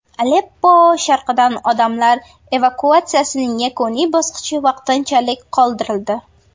Aleppo sharqidan odamlar evakuatsiyasining yakuniy bosqichi vaqtinchalik qoldirildi.